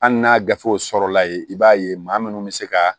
Hali n'a gafew sɔrɔla ye i b'a ye maa minnu bɛ se ka